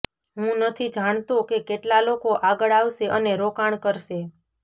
હું નથી જાણતો કે કેટલા લોકો આગળ આવશે અને રોકાણ કરશે